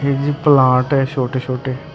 ਇਹ ਜੀ ਪਲਾਂਟ ਐ ਛੋਟੇ-ਛੋਟੇ।